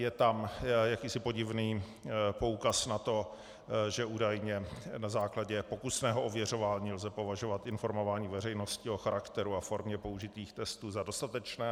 Je tam jakýsi podivný poukaz na to, že údajně na základě pokusného ověřování lze považovat informování veřejnosti o charakteru a formě použitých textů za dostatečné.